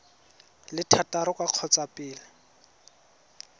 le thataro ka kgotsa pele